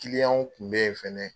Kiliyanw kun bɛ ye fɛnɛ